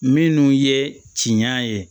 Minnu ye tiɲɛ ye